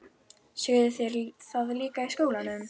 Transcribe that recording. Sögðu þeir það líka í skólanum?